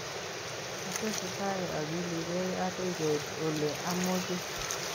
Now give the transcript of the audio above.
Atesetai akilikei akoi keit ole amoche